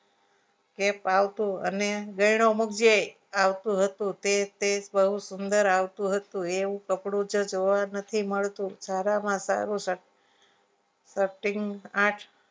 કે ફાવતું અને ગાયનો મુકજે આવતું હતું તે તે બહુ સુંદર આવતું હતું એવું કપડું જ જોવા નથી મળતું સારામાં સારું cutting